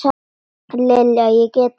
Lilja, ég get þetta ekki.